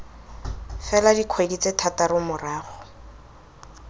fela dikgwedi tse thataro morago